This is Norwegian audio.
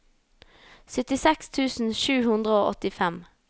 syttiseks tusen sju hundre og åttifem